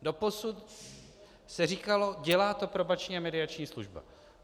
Doposud se říkalo: dělá to Probační a mediační služba.